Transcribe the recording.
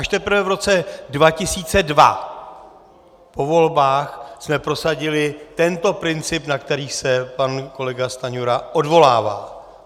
Až teprve v roce 2002 po volbách jsme prosadili tento princip, na který se pan kolega Stanjura odvolává.